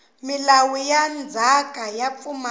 milawu ya ndzhaka yo pfumala